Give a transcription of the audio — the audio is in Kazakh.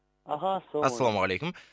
аха ассалаумалейкум ассалаумағалейкум